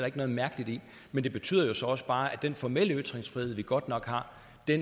ikke noget mærkeligt i men det betyder så også bare at den formelle ytringsfrihed vi godt nok har